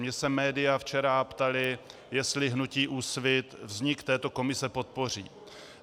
Mě se média včera ptala, jestli hnutí Úsvit vznik této komise podpoří.